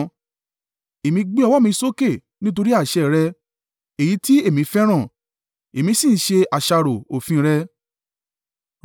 Èmi gbé ọwọ́ mi sókè nítorí àṣẹ rẹ, èyí tí èmi fẹ́ràn, èmi sì ń ṣe àṣàrò òfin rẹ̀.